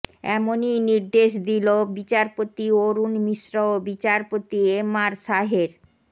এমনই নির্দেশ দিল বিচারপতি অরুণ মিশ্র ও বিচারপতি এমআর শাহের